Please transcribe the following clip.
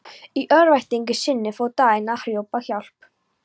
Í örvæntingu sinni fór Daðína að hrópa á hjálp.